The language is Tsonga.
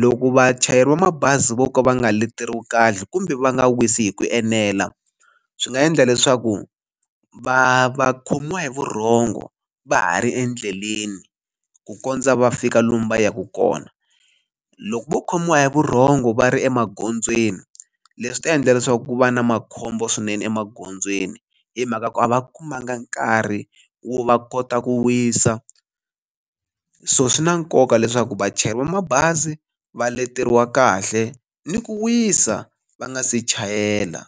loko vachayeri va mabazi vo ka va nga leteriwi kahle kumbe va nga wisi hi ku enela swi nga endla leswaku va va khomiwa hi vurhongo va ha ri endleleni ku kondza va fika lomu va yaka kona loko vo khomiwa hi vurhongo va ri emagondzweni leswi ta endla leswaku ku va na makhombo swinene emagondzweni hi mhaka ku a va kumanga nkarhi wo va kota ku wisa so swi na nkoka leswaku vachayeri va mabazi va leteriwa kahle ni ku wisa va nga se chayela.